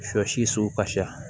Sɔ si kasira